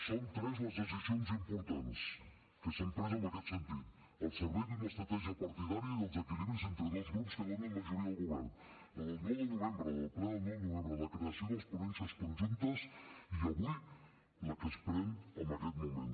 són tres les decisions importants que s’han pres en aquest sentit al servei d’una estratègia partidària i dels equilibris entre dos grups que donen majoria al govern la del nou de novembre la del ple del nou de novembre la creació de les ponències conjuntes i avui la que es pren en aquest moment